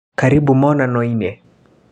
Karĩbũ monanio-inĩ.